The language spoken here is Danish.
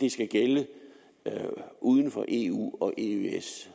det skal gælde uden for eu og eøs